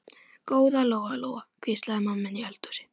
Góða Lóa-Lóa, hvíslaði mamma inni í eldhúsi.